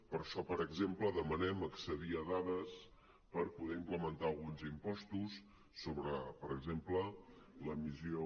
per això per exemple demanem accedir a dades per poder implementar alguns impostos sobre per exemple l’emissió